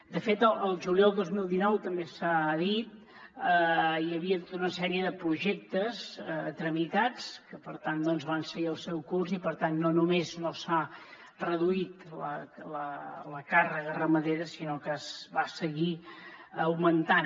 de fet el juliol del dos mil dinou també s’ha dit hi havia tota una sèrie de projectes tramitats que per tant van seguir el seu curs i per tant no només no s’ha reduït la càrrega ramadera sinó que va seguir augmentant